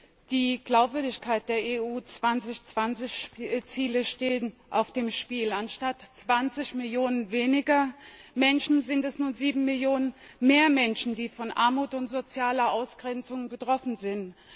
Frau Präsidentin! Die Glaubwürdigkeit der EU 2020 Ziele steht auf dem Spiel. Anstatt 20 Millionen weniger Menschen sind es nun sieben Millionen mehr Menschen, die von Armut und sozialer Ausgrenzung betroffen sind.